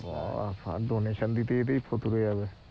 বা বা! দিতে দিতেই ফতুর হয়ে যাবে